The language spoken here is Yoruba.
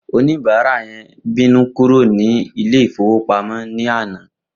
Oníbàárà yẹn bínú kúrò ní Ilé-ìfowópamó ní àná